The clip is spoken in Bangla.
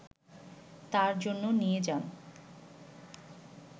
তার জন্য নিয়ে যান